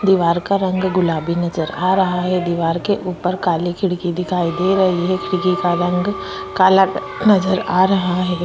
दिवार का रंग गुलाबी नज़र आ रहा है दीवार के ऊपर काले खिड़की दिखाई दे रही है खिड़की का रंग काला नजर आ रहा है।